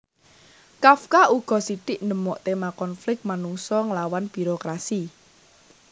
Kafka uga sithik ndemok téma konflik manungsa nglawan birokrasi